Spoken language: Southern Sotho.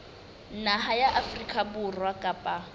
naha ya afrika borwa kapa